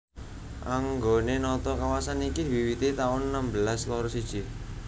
Anggone nata kawasan iki diwiwiti taun enem belas loro siji